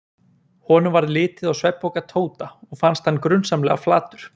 Honum varð litið á svefnpoka Tóta og fannst hann grunsamlega flatur.